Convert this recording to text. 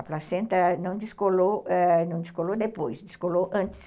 A placenta não descolou depois, eh, descolou antes.